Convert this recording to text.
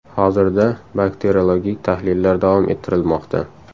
Hozirda bakteriologik tahlillar davom ettirilmoqda.